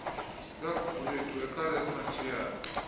zikagugulethu ekhala esimantshiyane